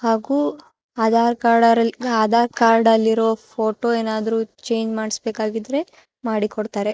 ಹಾಗು ಆಧಾರ್ ಕಾರ್ಡ ಆಧಾರ್ ಕಾರ್ಡಲ್ಲಿರೋ ಫೋಟೋ ಏನಾದ್ರೂ ಚೇಂಜ್ ಮಾಡಿಸ್ಬೇಕಾಗಿದ್ರೆ ಮಾಡಿ ಕೊಡತಾರೆ.